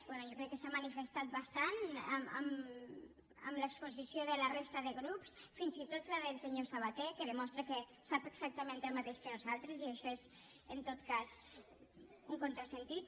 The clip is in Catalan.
bé jo crec que s’ha manifestat bastant en l’exposició de la resta de grups fins i tot la del senyor sabaté que demostra que sap exactament el mateix que nosaltres i això és en tot cas un contrasentit